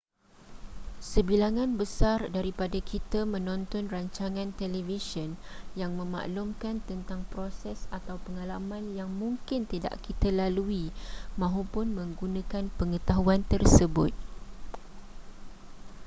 sebilangan besar daripada kita menonton rancangan televisyen yang memaklumkan tentang proses atau pengalaman yang mungkin tidak kita lalui mahupun menggunakan pengetahuan tersebut